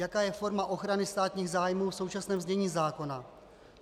Jaká je forma ochrany státních zájmů v současném znění zákona?